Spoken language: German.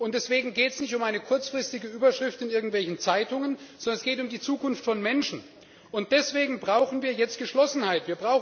Deswegen geht es nicht um eine kurzfristige Überschrift in irgendwelchen Zeitungen, sondern es geht um die Zukunft von Menschen, und deswegen brauchen wir jetzt Geschlossenheit!